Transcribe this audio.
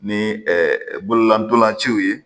Ni bololantolaciw ye